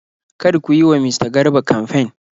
Kar ku yi wa mista Garba kamfen.!